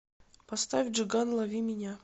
поставь джиган лови меня